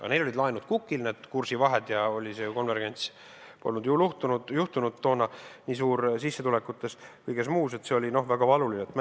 Aga neil olid laenud kukil, olid kursivahed ja see konvergents polnud ju toona sissetulekutes ja kõiges muus toimunud, ning see oli väga valuline.